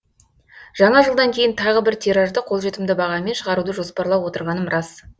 жаңа жылдан кейін тағы бір тиражды қолжетімді бағамен шығаруды жоспарлап отырғаным рас